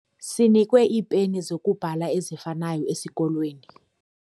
Sinikwe iipeni zokubhala ezifanayo esikolweni.